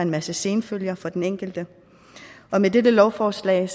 masse senfølger for den enkelte med dette lovforslag